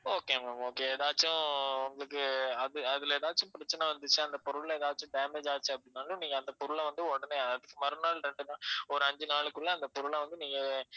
okay ma'am okay ஏதாச்சும் உங்களுக்கு அது அதுல ஏதாச்சும் பிரச்சனை வந்துச்சு அந்த பொருள்ல ஏதாச்சும் damage ஆச்சி அப்படின்னாலும் நீங்க அந்த பொருளை வந்து உடனே மறுநாள் ரெண்டு நாள்~ ஒரு அஞ்சு நாளைக்குல்ல அந்த பொருளை வந்து நீங்க